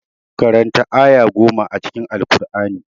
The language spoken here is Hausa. Karanta aya goma a cikin Alkur'ani.